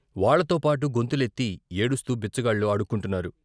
వాళ్ళతోపాటు గొంతులెత్తి ఏడుస్తూ బిచ్చగాళ్లు అడుక్కుంటున్నారు.